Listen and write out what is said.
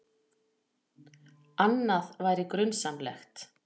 Annað væri grunsamlegt.